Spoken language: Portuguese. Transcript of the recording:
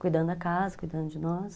cuidando da casa, cuidando de nós.